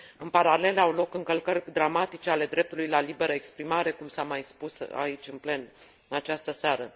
În paralel, au loc încălcări dramatice ale dreptului la liberă exprimare, cum s a mai spus aici, în plen, în această seară.